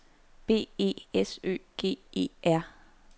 B E S Ø G E R